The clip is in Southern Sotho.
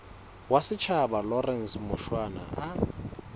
wa setjhaba lawrence mushwana o